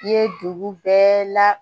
I ye dugu bɛɛ la